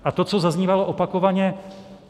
A to, co zaznívalo opakovaně.